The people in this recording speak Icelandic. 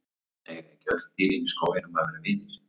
Eiga ekki öll dýrin í skóginum að vera vinir?